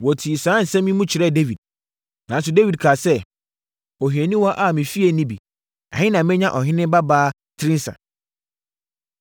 Wɔtii saa nsɛm yi mu kyerɛɛ Dawid. Nanso, Dawid kaa sɛ, “Ohianiwaa a me fie nni bi, ɛhe na menya ɔhene babaa tirinsa?”